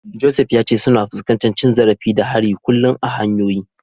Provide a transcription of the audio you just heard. Joseph ya ce suna fuskantar cin zarafi da hari kullum a hanyoyi.